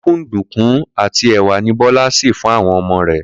Kúnkúnǹdùnkún àti è̩wà ni Bó̩lá sè fún àwo̩n o̩mo̩ rè